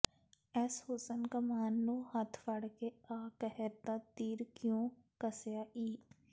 ਏਸ ਹੁਸਨ ਕਮਾਨ ਨੂੰ ਹੱਥ ਫੜਕੇ ਆ ਕਹਿਰ ਦਾ ਤੀਰ ਕਿਉਂ ਕੱਸਿਆ ਈ